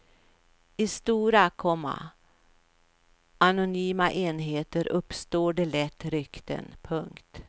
I stora, komma anonyma enheter uppstår det lätt rykten. punkt